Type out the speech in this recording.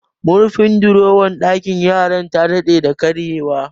Murfin dorowar ɗakin yaran ta dade da karye wa